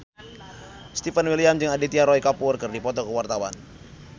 Stefan William jeung Aditya Roy Kapoor keur dipoto ku wartawan